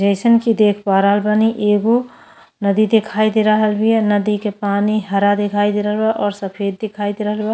जइसन की देख पा रहल बानी एगो नदी दिखाई दे रहल बिया नदी के पानी हरा दिखाई दे रहल बा और सफ़ेद दिखाई दे रहल बा।